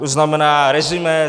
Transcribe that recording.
To znamená resumé.